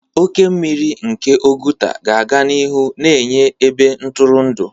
Oke mmiri nke Oguta ga-aga n'ihu na-enye ebe ntụrụndụ.